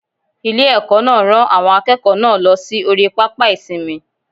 Ilé- èkó náà rán àwọn akéèkòó náà lọ sí orí pápá ìsinmi